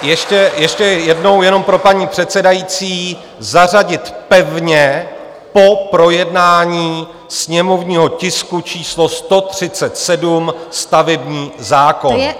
Ještě jednou, jenom pro paní předsedající, zařadit pevně po projednání sněmovního tisku číslo 137 - stavební zákon.